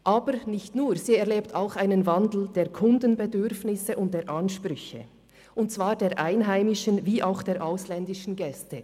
Aber nicht nur: Sie erlebt auch einen Wandel der Kundenbedürfnisse und der Ansprüche und zwar der einheimischen wie auch der ausländischen Gäste.